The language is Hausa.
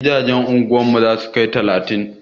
Gidajen anguwar mu za su kai talatin.